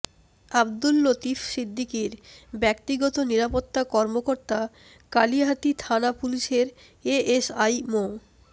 আব্দুল লতিফ সিদ্দিকীর ব্যক্তিগত নিরাপত্তা কর্মকর্তা কালিহাতী থানা পুলিশের এএসআই মো